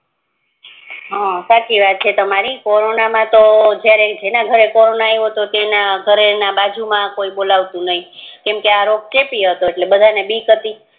હા સાચી વાત છે તમારી કોરોના માતો જે જેના ઘરે કોરોના આયવો તો એના ઘરે બાજુ મા કોઈ બોલાવતું નય કેમકે આ રોજ ચેપી હાતો એટલે એની બીક હતી